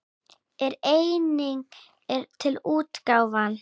En einnig er til útgáfan